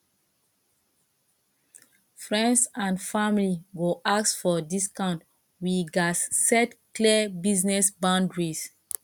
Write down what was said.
friends and family go ask for discount we gats set clear business boundaries